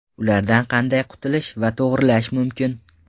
Ulardan qanday qutulish va to‘g‘rilash mumkin?